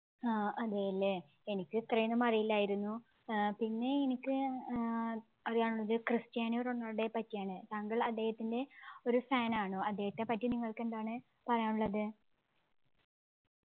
ആഹ് അതേയല്ലേ എനിക്ക് ഇത്രയൊന്നും അറിയില്ലായിരുന്നു ഏർ പിന്നെ എനിക്ക് ഏർ അറിയാവുന്നത് ക്രിസ്ത്യാനോ റൊണാൾഡോയെ പറ്റിയാണ് താങ്കൾ അദ്ദേഹത്തിൻ്റെ ഒരു fan ആണോ അദ്ദേഹത്തെപ്പറ്റി നിങ്ങൾക്ക് എന്താണ് പറയാനുള്ളത്